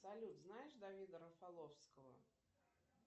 салют знаешь давида рафаловского